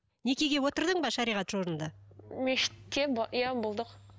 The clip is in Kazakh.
некеге отырдың ба шариғат мешітке иә болдық